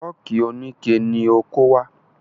Fọ́ọ̀kì oníke ni o kó wá.